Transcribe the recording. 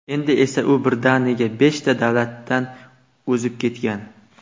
Endi esa u birdaniga beshta davlatdan o‘zib ketgan.